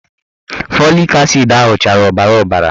Fọlik asid ahụ chara ọbara ọbara